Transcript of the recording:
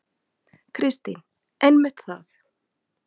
Kristín: Einmitt það.